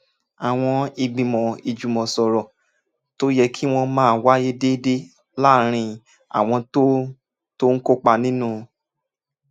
àwọn ìgbìmọ̀ ìjùmọ̀sọ̀rọ̀ tó yẹ kí wọ́n máa wáyé déédéé láàárín àwọn tó ń tó ń kópa nínú